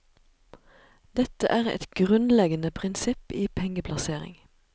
Dette er et grunnleggende prinsipp i pengeplassering.